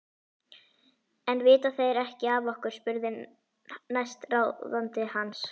En vita þeir ekki af okkur? spurði næstráðandi hans.